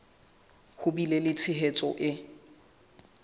ho bile le tshehetso e